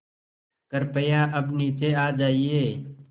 कृपया अब नीचे आ जाइये